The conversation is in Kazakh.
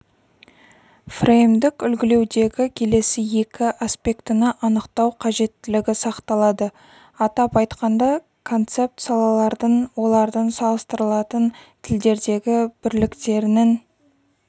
фреймдік үлгілеудегі келесі екі аспектіні анықтау қажеттілігі сақталады атап айтқанда концепт салалардың олардың салыстырылатын тілдердегі бірліктерінің